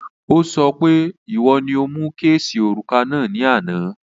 Ó sọ pé ìwo ni o mu kéèsì òrùka náà ní àná